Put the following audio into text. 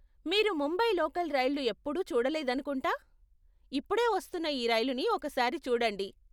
మీరు ముంబై లోకల్ రైళ్ళు ఎప్పుడూ చూడలేదనుకుంటా. ఇప్పుడే వస్తున్న ఈ రైలుని ఒక సారి చూడండి.